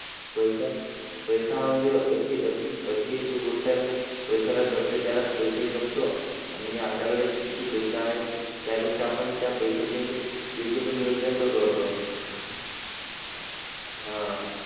पैसा पैसा हा म्हणजे अशी अशी अशी एक गोष्ट आहे म्हणजे पैशाला जपले त्यालाच आहे जगतो आणि आपल्याकडे किती पैसा आहे त्यापेक्षा आपण त्या पैशाचे म्हणजे योग्य पण नियोजन पण करतो आह